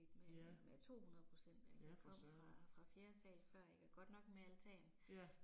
Ja. Ja for Søren. Ja